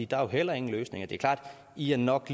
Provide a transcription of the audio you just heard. der er heller ingen løsninger det er klart at i nok